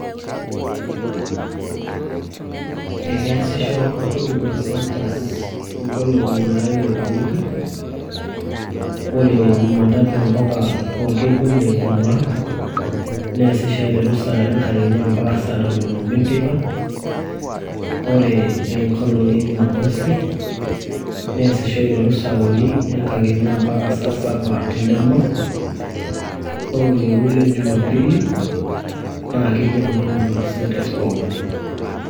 Ekeasisho huduma centres inkolong'i naara ile tewiki ore jumatatu mpaka orkekun le jumaa neesisho aiteru saa are enkakenya mpaka saa tonon oobo enteipa ore enkolong e jumamosi neesisho aiteru saa uni enkakenya mpaka saa saba endama ore orkekun le jumapili naa kikeno huduma centres pookin.